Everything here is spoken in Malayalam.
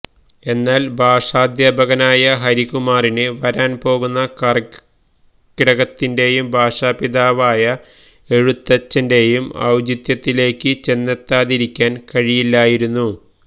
എന്നാൽ ഭാഷാദ്ധ്യാപകനായ ഹരികുമാറിന് വരാൻപോകുന്ന കർക്കിടകത്തിന്റെയും ഭാഷാപിതാവായ എഴുത്തച്ഛന്റേയും ഔചിത്യത്തിലേയ്ക്ക് ചെന്നെത്താതിരിയ്ക്കാൻ കഴിയില്ലായിരുന്നു